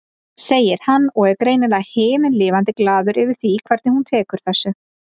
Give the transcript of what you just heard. segir hann og er greinilega himinlifandi glaður yfir því hvernig hún tekur þessu.